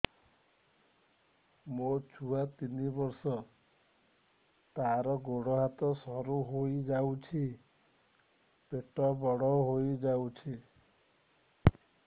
ମୋ ଛୁଆ ତିନି ବର୍ଷ ତାର ଗୋଡ ହାତ ସରୁ ହୋଇଯାଉଛି ପେଟ ବଡ ହୋଇ ଯାଉଛି